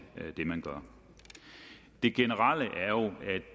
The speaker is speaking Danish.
det man gør det generelle